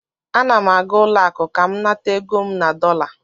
Ana m aga ụlọ akụ ka m nata ego m na dọla